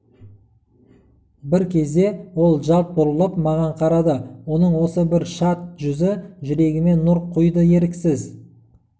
бір кезде ол жалт бұрылып маған қарады оның осы бір шат жүзі жүрегіме нұр құйды еріксіз